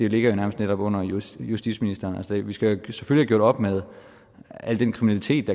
ligger jo nærmest under justitsministeren vi vi skal selvfølgelig op med al den kriminalitet